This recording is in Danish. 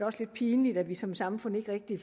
også lidt pinligt at vi som samfund ikke rigtig